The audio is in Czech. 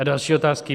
A další otázky.